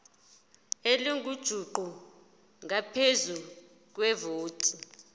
elingujuqu ngaphezu kwevoti